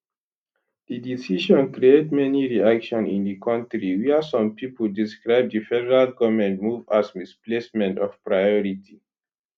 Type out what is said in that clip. di decision create many reaction in di kontri wia some pipo describe di federal goment move as misplacement of priority